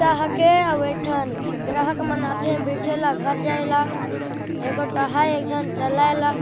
रिक्सा हके आऊ एठन ग्राहक मन आथे बैठे ला घर जाय ला एक गोट आहाय चलाय ला |